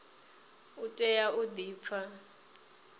u tea u di pfa